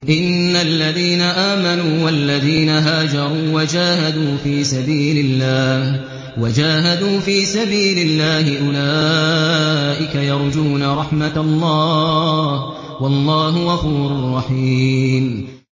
إِنَّ الَّذِينَ آمَنُوا وَالَّذِينَ هَاجَرُوا وَجَاهَدُوا فِي سَبِيلِ اللَّهِ أُولَٰئِكَ يَرْجُونَ رَحْمَتَ اللَّهِ ۚ وَاللَّهُ غَفُورٌ رَّحِيمٌ